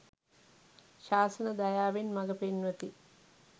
ශාසන දයාවෙන් මග පෙන්වති.